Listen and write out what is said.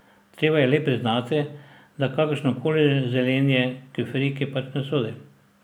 Treba je le priznati, da kakršno koli zelenje k friki pač ne sodi.